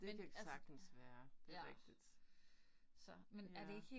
Det kan sagtens være. Det rigtigt. Ja